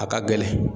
A ka gɛlɛn